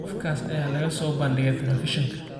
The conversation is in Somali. Qofkaas ayaa laga soo bandhigay telefiishanka